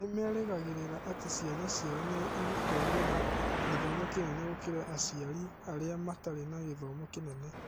Nĩ merĩgagĩrĩra atĩ ciana ciao nĩ igũkorũo na gĩthomo kĩnene gũkĩra aciari arĩa matarĩ na gĩthomo kĩnene.